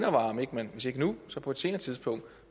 om ikke man hvis ikke nu så på et senere tidspunkt